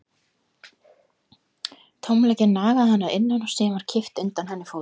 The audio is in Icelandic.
Tómleikinn nagaði hana að innan og síðan var kippt undan henni fótunum.